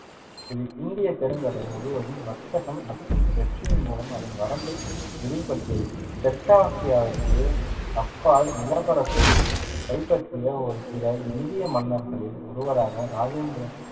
இது இந்தியப் பெருங்கடல் முழுவதும் வர்த்தகம் மற்றும் வெற்றியின் மூலம் அதன் வரம்பை விரிவுபடுத்தியது, தெற்காசியாவிற்கு அப்பால் நிலப்பரப்பைக் கைப்பற்றிய ஒரு சில இந்திய மன்னர்களில் ஒருவராக ராஜேந்திர~